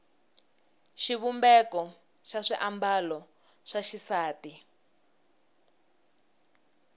xivumbeko xa swiambalo swa xisati